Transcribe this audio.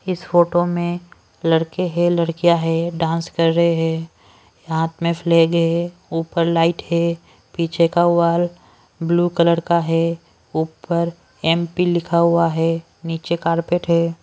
इस फोटो में लड़के हैं लड़कियां हैं डांस कर रहे हैं हाथ में फ्लैग है ऊपर लाइट है पीछे का वाल ब्लू कलर का है ऊपर एम_पी लिखा हुआ है नीचे कारपेट है।